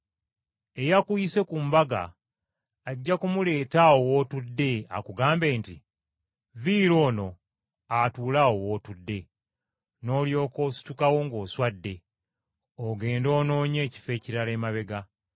eyakuyise ku mbaga ajja kumuleeta awo w’otudde akugambe nti, ‘Viira ono atuule awo w’otudde.’ Noolyoka ositukawo ng’oswadde ogende onoonye ekifo ekirala emabega.